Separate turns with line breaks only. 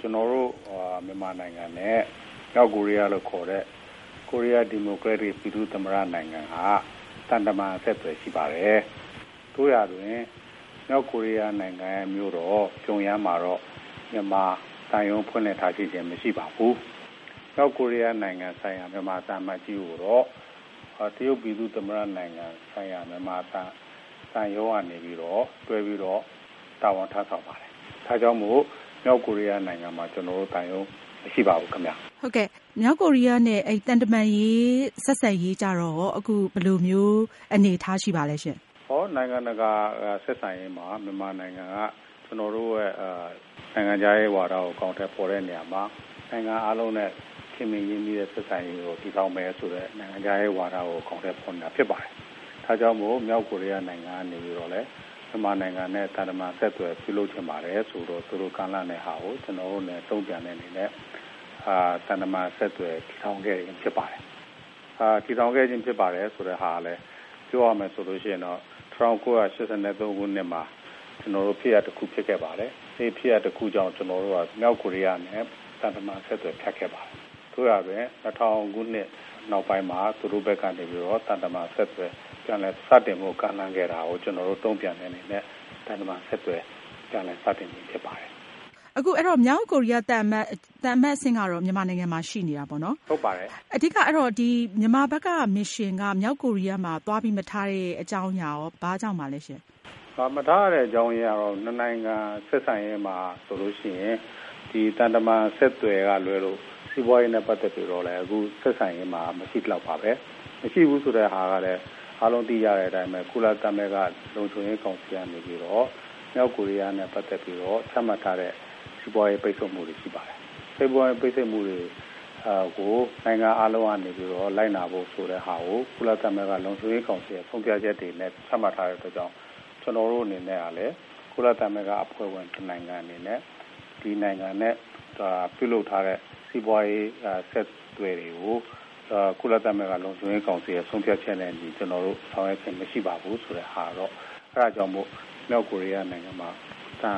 ကျနော်တို့ မြန်မာနိုင်ငံနဲ့ မြောက်ကိုရီးယားလို့ခေါ်တဲ့ ကိုရီးယား ဒီမိုကရက်တစ် ပြည်သူ့သမ္မတ နိုင်ငံဟာ သံတမန် အဆက်အသွယ်ရှိပါတယ်။ သို့ရာတွင် မြောက်ကိုရီးယားနိုင်ငံရဲ့ မြို့တော် ပြုံယမ်းမှာတော့ မြန်မာသံရုံး ဖွင့်လှစ်ထားခြင်းမရှိပါဘူး။ မြောက်ကိုရီးယားဆိုင်ရာ မြန်မာသံအမတ်ကြီးကိုတော့ တရုတ်ပြည်သူ့သမ္မတနိုင်ငံဆိုင်ရာ မြန်မာသံရုံး ကနေ တွဲပြီးတော့ တာဝန်ထမ်းဆောင်ပါတယ်။ ဒါကြောင့် မြောက်ကိုရီးယားနိုင်ငံမှာ ကျနော်တို့ မြန်မာသံရုံးမရှိပါဘူး ခင်ဗျ။
မြောက်ကိုရီးယားနဲ့ မြန်မာ သံတမန်ရေး ဆက်ဆံရေးကရော အခု ဘယ်လိုရှိပါသလဲရှင့်။
နိုင်ငံတကာ ဆက်ဆံရေးမှာ မြန်မာနိုင်ငံက နိုင်ငံခြားရေးဝါဒကို အကောင်အထည်ဖေါ်တဲ့နေရာမှာ နိုင်ငံအားလုံးနဲ့ ခင်မင်ရင်းနှီးတဲ့ ဆက်ဆံရေးကို တည်ထောင်မယ်ဆိုတဲ့ နိုင်ငံခြားရေးဝါဒကို အကောင်အထည်ဖေါ်နေတာဖြစ်ပါတယ်။ ဒါကြောင့်မို့ မြောက်ကိုရီးယားနိုင်ငံကနေပြီးတော့ မြန်မာနိုင်ငံနဲ့ သူတို့ သံတမန်ဆက်သွယ်ရေး ပြုလုပ်ချင်ပါတယ်ဆိုပြီးတော့ သူတို့ ကမ်းလှမ်းတဲ့ဟာကို ကျနော်တို့ တုန့်ပြန်တဲ့ အနေနဲ့ သံတမန်အဆက်အသွယ်တည်ထောင်ခဲ့ခြင်းဖြစ်ပါတယ်။ အဲဒီလို ပြန်ပြီးတည်ထောင်တဲ့နေရာမှာ ပြောရမယ်ဆိုရင် ၁၉၈၃ခုနှစ်မှာ ကျနော်တို့ ဖြစ်ရပ် တခု ဖြစ်ခဲ့ပါတယ်။ အဲဒီဖြစ်ရပ်ကြောင့် ကျနော်တို့ဟာ မြောက်ကိုရီးယားနဲ့ သံတမန်အဆက်အသွယ် ဖြတ်ခဲ့ပါတယ်။ သို့ရာတွင် ၂၀၀၀ ခုနှစ်နောက်ပိုင်းမှာ သူတို့ဘက်ကနေပြီးတော့ သံတမန်အဆက်အသွယ်ပြန်လည် စတင်ဖို့ ကမ်းလှမ်းခဲ့တာကို ကျနော်တို့ တုန့်ပြန်တဲ့အနေနဲ့ သံတမန်အဆက်အသွယ် ကျနော်တို့ ပြန်လည် စတင်ခြင်းဖြစ်ပါတယ်။
အခုမြောက်ကိုရီးယားသံအမတ်အဆင့်ကတော့ မြန်မာနိုင်ငံမှာရှိနေတာပေါ့နော်။
ဟုတ်ပါတယ်။
အဓိက မြန်မာဘက်က mission က မြောက်ကိုရီးယားမှာ သွားပြီးမထားတဲ့အကြောင်းအရင်းကရော ဘာကြောင့်ပါလဲရှင့်။
မထားတဲ့အကြောင်းအရင်းကတော့ မြန်မာနိုင်ငံနဲ့ဆက်ဆံရေးမှာဆိုရင် သံတမန်နဲ့ဆက်သွယ်ရေးမှာ စီးပွားရေးနဲ့ ပတ်သက်ပြီးတော့ အခုဆက်ဆံရေးမှာ မရှိသလောက်ပါပဲ။ မရှိဘူးဆိုတာကလည်း အားလုံးသိကြတဲ့အတိုင်း ကုလသမဂ္ဂ လုံခြံရေးကောင်စီကနေပြီးတော့ မြောက်ကိုရီးယားနဲ့ ပတ်သက်ပြီးတော့ စီးပွားရေးပိတ်ဆို့မှုတွေရှိပါတယ်။ စီးပွားရေးပိတ်ဆို့မှုတွေမှာ နိုင်ငံအားလုံးကနေလိုက်နာဖို့ဆိုပြီးတော့ကုလသမဂ္ဂ လုံခြံရေးကောင်စီကဆုံးဖြတ်ချက်တွေနဲ့ ချမှတ်ထားတဲ့အတွက် ကျနေ်ာတို့အနေနဲ့ကလည်း ကုလသမဂ္ဂ အဖွဲ့ဝင်နိုင်ငံတနိုင်ငံအနေနဲ့ ပြုလုပ်ထားတဲ့စီးပွားရေးအဆက်အသွယ်တွေကို ကုလသမဂ္ဂ လုံခြံရေးကောင်စီက ဆုံးဖြတ်ချက်တွေနဲ့အညီ ကျနေ်ာတို့ ဆောင်ရွက်ခြင်းမရှိပါဘူး။ အဲဒါကြောင့်မို့လို့ မြောက်ကိုရီးယားနိုင်ငံမှာ သံ